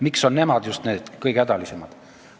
Miks on nemad just need kõige hädalisemad?